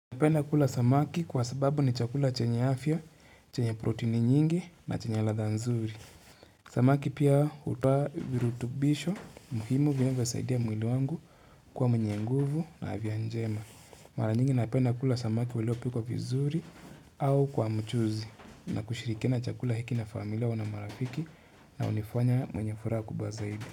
Napenda kula samaki kwa sababu ni chakula chenye afya, chenye protini nyingi na chenye ladha nzuri. Samaki pia hutoa virutubisho muhimu vinavyosaidia mwili wangu kuwa mwenye nguvu na afya njema. Mara nyingi napenda kula samaki uliopikwa vizuri au kwa mchuzi na kushirikina chakula hiki na familia au na marafiki na hunifanya mwenye furaha kubwa zaidi.